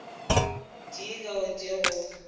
tee ka o tee go